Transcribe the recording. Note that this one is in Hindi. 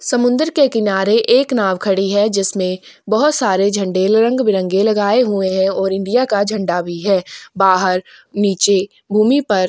समुद्र के किनारे एक नाव खड़ी है जिसमें बहोत सारे झंडे रंग-बिरंगे लगाए हुए है और इंडिया का झंडा भी है बाहर नीचे भूमि पर--